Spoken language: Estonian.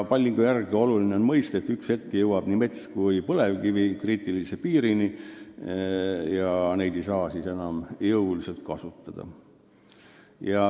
On oluline mõista, et ühel hetkel jõuame nii metsa- kui põlevkivivarude puhul kriitilise piirini ja siis me ei saa neid enam nii jõuliselt kasutada.